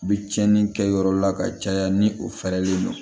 U bɛ tiɲɛni kɛ yɔrɔ la ka caya ni o fɛrɛlen don